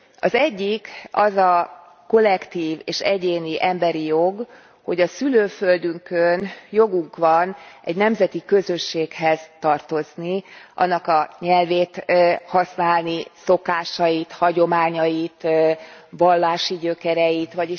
Az egyik az a kollektív és egyéni emberi jog, hogy a szülőföldünkön jogunk van egy nemzeti közösséghez tartozni, annak a nyelvét használni, szokásait, hagyományait, vallási gyökereit őrizni.